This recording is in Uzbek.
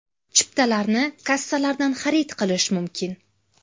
Chiptalarni kassalardan xarid qilish mumkin.